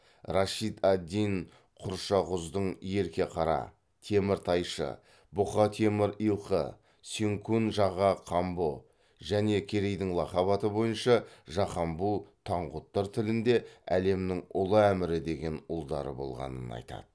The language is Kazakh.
рашид ад дин құршақұздың ерке қара теміртайшы бұқа темір илқы сенкун жаға камбұ және керейдің лақап аты бойынша жақамбу таңғұттар тілінде әлемнің ұлы әмірі деген ұлдары болғанын айтады